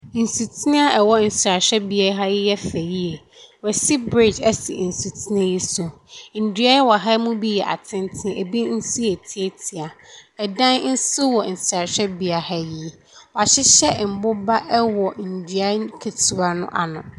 Nsutene a ɛwɔ nsrabea ha yi yɛ fɛ yie, wɔasi bridge asi nsutene yi so. Ndua a ɛwɔ ha mu bi yɛ atenten binom nso ntiatia dan nso hɔ nsrahwɛbea ha yi. Wɔahyehyɛ ndua nketeawa no ano.